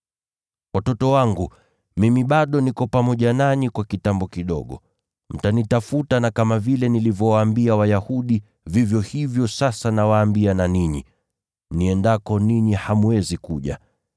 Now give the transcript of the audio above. “Watoto wangu, mimi bado niko pamoja nanyi kwa kitambo kidogo. Mtanitafuta, na kama vile nilivyowaambia Wayahudi, vivyo hivyo sasa nawaambia na ninyi. Niendako, ninyi hamwezi kuja.